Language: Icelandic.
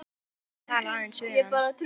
Það var samt gott að tala aðeins við hann.